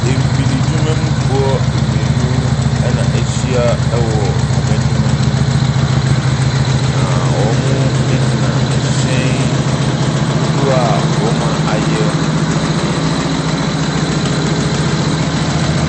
Mfididwuma mufoɔ mmienu na wɔahyia wɔ wɔn adwuma mu yi, na wɔgyina ɛhyɛn dodoz a wɔayɛ no ho.